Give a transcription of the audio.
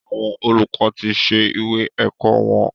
Àwọn olùkọ tí ṣe ìwé ẹ̀kọ́ wọn.